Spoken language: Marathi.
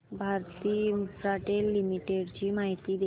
भारती इन्फ्राटेल लिमिटेड ची माहिती दे